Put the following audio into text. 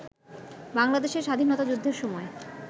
বাংলাদেশের স্বাধীনতা যুদ্ধের সময়